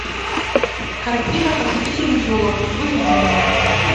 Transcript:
картина похитители елок выведи мне